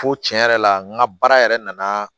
Fo tiɲɛ yɛrɛ la n ka baara yɛrɛ nana